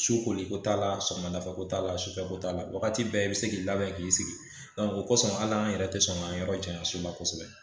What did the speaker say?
Sokoliko t'a la sɔgɔmadafɛ t'a la sufɛ ko t'a la wagati bɛɛ i bɛ se k'i labɛn k'i sigi o kosɔn hali an yɛrɛ tɛ sɔn k'an yɔrɔ janya soba kosɛbɛ